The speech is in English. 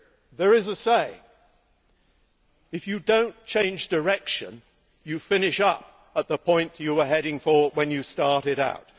There is a saying If you do not change direction, you finish up at the point you were heading for when you started out'.